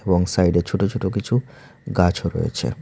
এবং সাইডে ছোটো ছোটো কিছু গাছও রয়েছে।